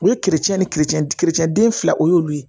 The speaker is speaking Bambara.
U ye kerecɛn ni den fila o y'olu ye